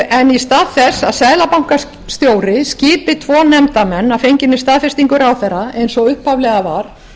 en í stað þess að seðlabankastjóri skipi tvo nefndarmenn að fenginni staðfestingu ráðherra eins og upphaflega var